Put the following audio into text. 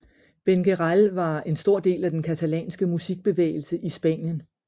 Benguerel var en stor del af den katalanske musikbevægelse i Spanien